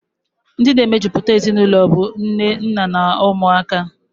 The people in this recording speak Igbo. Ndi na-emejuputa ezinụlọ bụ nne, nna, na umuaka.